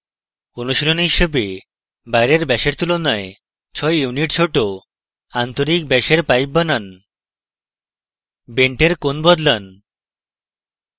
অনুশীলনী হিসাবে বাইরের ব্যাসের তুলনায় 6 units ছোট আন্তরিক ব্যাসের pipe বানান বেন্টের কোণ বদলান